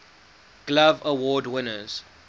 glove award winners